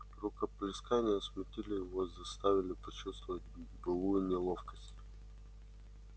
рукоплескания смутили его и заставили почувствовать былую неловкость